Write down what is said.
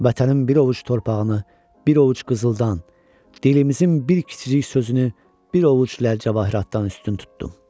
Vətənin bir ovuc torpağını, bir ovuc qızıldan, dilimizin bir kiçicik sözünü bir ovuc ləl-cəvahiratdan üstün tutdum.